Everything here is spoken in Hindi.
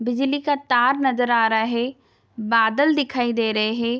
बिजली का तार नजर आ रहे है बादल दिखाई दे रहे हैं।